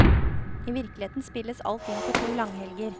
I virkeligheten spilles alt inn på to langhelger.